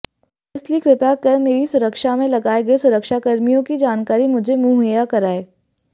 इसलिए कृपया कर मेरी सुरक्षा में लगाए गए सुरक्षाकर्मियों की जानकारी मुझे मुहैया कराएं